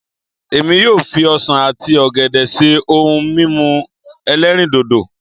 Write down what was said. Èmi yóò fi ọsàn àti ọ̀gẹ̀dẹ̀ ṣe ohun mímu ẹlẹ́rìndòdò